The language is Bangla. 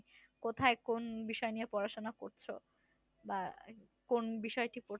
কোথায় কোন বিষয় নিয়ে পড়াশোনা করছ বা কোন বিষয়টি পড়ছো?